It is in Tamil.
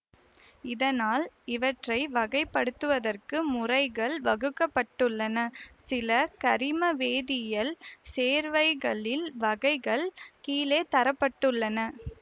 இதனால் இவற்றை வகைப்படுத்துவதற்கு முறைகள் வகுக்க பட்டுள்ளன சில கரிமவேதியியல் சேர்வைகளின் வகைகள் கீழே தர பட்டுள்ளன